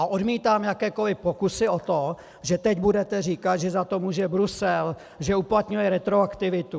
A odmítám jakékoli pokusy o to, že teď budete říkat, že za to může Brusel, že uplatňuje retroaktivitu.